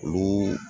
Olu